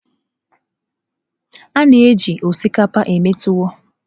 A na-eji osikapa eme tuwọ.